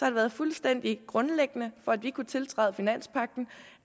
det været fuldstændig grundlæggende for for at vi kunne tiltræde finanspagten